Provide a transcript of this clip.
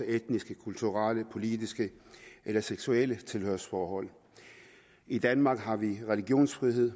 etniske kulturelle politiske eller seksuelle tilhørsforhold i danmark har vi religionsfrihed